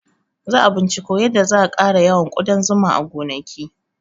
Za a binciko yadda za a ƙara yawan ƙudan zuma a gonaki